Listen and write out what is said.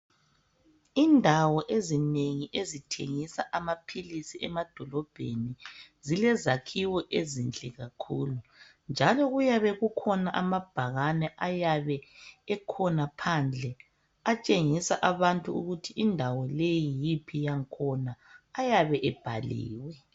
indawo ezinengi ezithengisa amaphilisi emadolobheni zilezakhiwo ezinhle kakhulu njalo kuyabe kukhona ababhakane ayabe ekhona phandle atshengisa abantu ukuthi leyi yindawo yiphi yakhona ayabe ebhaliwe